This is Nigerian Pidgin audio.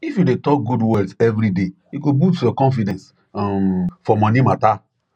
if you dey talk good words every day e go boost your confidence um for money matter